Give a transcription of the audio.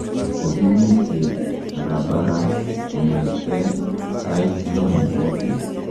Kokimitei barabara kongete sait lo ne bo bet.